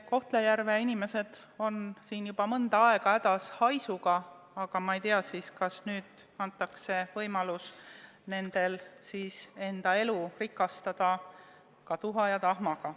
Kohtla-Järve inimesed on juba mõnda aega hädas haisuga, no ma ei tea, kas nüüd siis antakse neile võimalus oma elu rikastada ka tuha ja tahmaga.